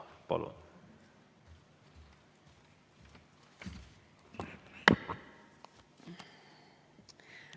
Palun!